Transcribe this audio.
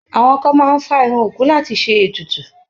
Àwọn kan máa ń fá irun òkú láti ṣe ètùtù.